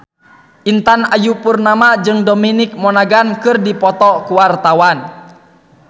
Intan Ayu Purnama jeung Dominic Monaghan keur dipoto ku wartawan